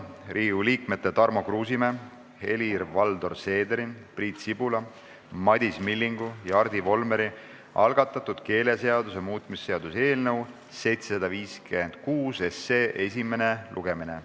Riigikogu liikmete Tarmo Kruusimäe, Helir-Valdor Seederi, Priit Sibula, Madis Millingu ja Hardi Volmeri algatatud keeleseaduse muutmise seaduse eelnõu 756 esimene lugemine.